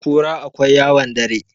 kura akwai yawon dare